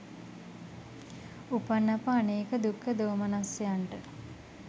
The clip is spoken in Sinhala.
උපන් අප අනේක දුක්ඛ දෝමනස්සයන්ට